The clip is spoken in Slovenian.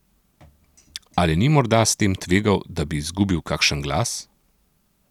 Ali ni morda s tem tvegal, da bi izgubil kakšen glas?